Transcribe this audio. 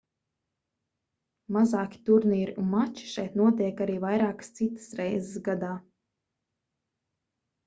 mazāki turnīri un mači šeit notiek arī vairākas citas reizes gadā